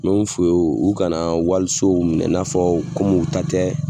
Min fɔ u ye u kana walisow minɛ n'a fɔ komi u ta tɛ